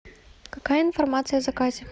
какая информация о заказе